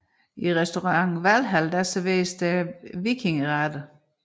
I Restaurant Valhall serveres der vikingeretter